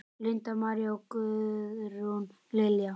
Linda María og Guðrún Lilja.